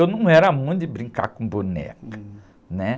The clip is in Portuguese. Eu não era muito de brincar com boneca.um.é?